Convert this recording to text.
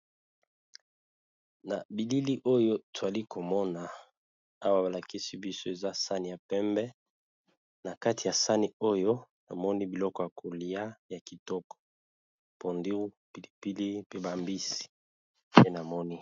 Na bilili oyo, twali komona awa, balakisi biso eza sani ya pembe, na kati ya sani oyo namoni biloko ya kolia ya kitoko. Pondu, pilipili, pe bambisi pe namoni.